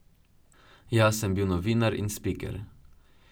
Jaz sem bil novinar in spiker.